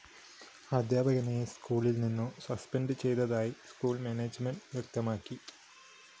അധ്യാപകനെ സ്‌കൂളില്‍ നിന്നും സസ്പെൻഡ്‌ ചെയ്തതായി സ്കൂൾ മാനേജ്മെന്റ്‌ വ്യക്തമാക്കി